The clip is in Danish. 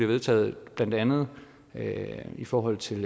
vedtaget blandt andet i forhold til